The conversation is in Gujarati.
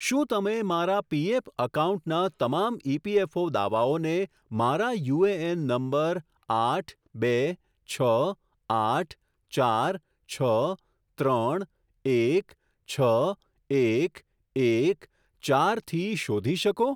શું તમે મારા પીએફ એકાઉન્ટના તમામ ઇએફપીઓ દાવાઓને મારા યુએએન નંબર આઠ બે છ આઠ ચાર છ ત્રણ એક છ એક એક ચારથી શોધી શકો?